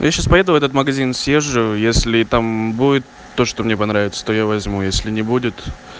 я сейчас поеду в этот магазин съезжу если там будет то что мне понравится то я возьму если не будет